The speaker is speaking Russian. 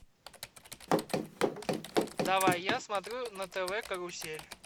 давай я смотрю на тв карусель